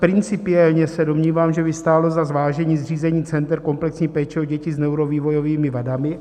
Principiálně se domnívám, že by stálo za zvážení zřízení center komplexní péče o děti s neurovývojovými vadami.